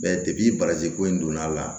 Bɛɛ bagaji ko in donna a la